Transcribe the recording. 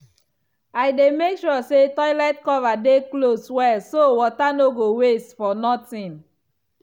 i dey make sure say toilet cover dey close well so water no go waste for nothing.